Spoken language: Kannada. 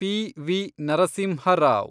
ಪಿ.ವಿ. ನರಸಿಂಹ ರಾವ್